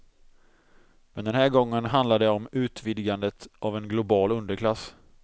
Men den här gången handlar det om utvidgandet av en global underklass.